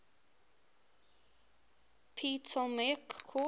ptolemaic court